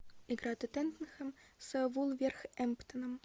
игра тоттенхэм с вулверхэмптоном